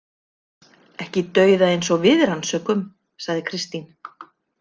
Ekki dauða eins og við rannsökum, sagði Kristín.